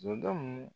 Zonden